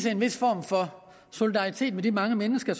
en vis form for solidaritet med de mange mennesker